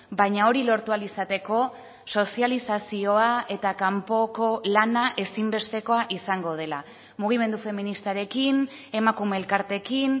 baina hori lortu ahal izateko sozializazioa eta kanpoko lana ezinbestekoa izango dela mugimendu feministarekin emakume elkarteekin